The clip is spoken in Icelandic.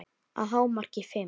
Að hámarki fimm.